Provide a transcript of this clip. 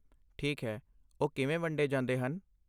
ਠੀਕ ਹੈ, ਉਹ ਕਿਵੇਂ ਵੰਡੇ ਜਾਂਦੇ ਹਨ?